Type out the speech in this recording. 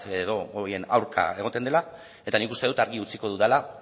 edo horien aurka egoten dela eta nik uste dut argi utziko dudala